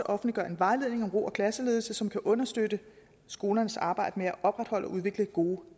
offentliggøre en vejledning om ro og klasseledelse som kan understøtte skolernes arbejde med at opretholde og udvikle gode